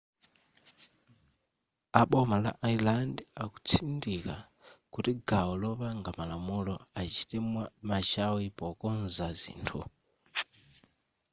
a boma la ireland akutsindika kuti gawo lopanga malamulo achite machawi pokonza zithu